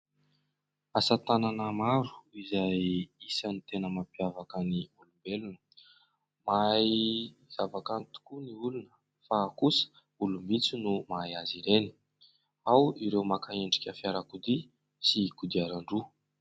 Asa tanana maro izay isan'ny tena mampiavaka ny olombelona ; mahay zava-kanto tokoa ny olona fa kosa olom-bitsy no mahay azy ireny, ao ireo maka endrika fiarakodia sy kodiaran-droa.